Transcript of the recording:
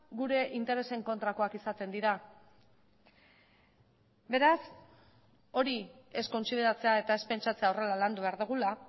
gure interesen kontrakoak izaten dira beraz hori ez kontsideratzea eta ez pentsatzea horrela landu behar dugula